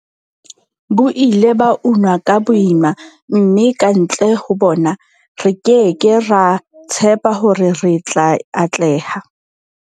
Bo ile ba unwa ka boima, mme kantle ho bona, re ke ke ra tshepa hore re tla atleha.